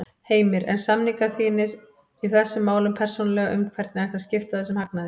Heimir: En samningar þínir í þessum málum persónulega um hvernig ætti að skipta þessum hagnaði?